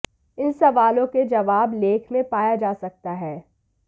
इन सवालों के जवाब लेख में पाया जा सकता है